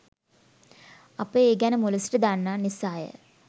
අප ඒ ගැන මුල සිට දන්නා නිසාය.